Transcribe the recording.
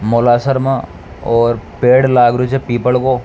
मौलासर मा और पेड़ लाग रियो छे पीपल को।